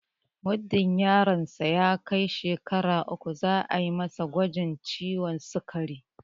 Muddin yaron sa ya kai shekara uku za'a masa gwajin ciwon sikari